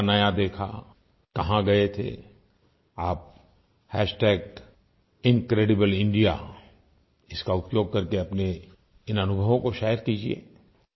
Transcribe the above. क्या नया देखा कहाँ गए थे आप इनक्रेडिब्लेइंडिया का उपयोग कर के अपने इन अनुभवों को शेयर कीजिये